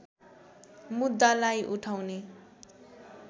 मुद्दालाई उठाउने